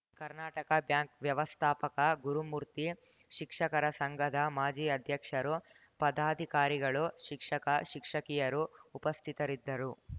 Karnataka bank ವ್ಯವಸ್ಥಾಪಕ ಗುರುಮೂರ್ತಿ ಶಿಕ್ಷಕರ ಸಂಘದ ಮಾಜಿ ಅಧ್ಯಕ್ಷರು ಪದಾಧಿಕಾರಿಗಳು ಶಿಕ್ಷಕ ಶಿಕ್ಷಕಿಯರು ಉಪಸ್ಥಿತರಿದ್ದರು